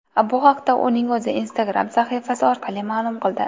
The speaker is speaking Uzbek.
Bu haqda uning o‘zi Instagram sahifasi orqali ma’lum qildi .